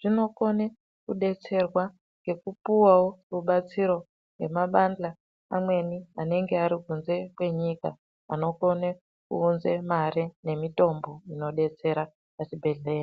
zvinokone kudetserwa ngekupuwawo rubatsiro ngemabandhla amweni anenge ari kunze kwenyika anokone kuunze mari nemitombo inodetsera pazvibhedhlera.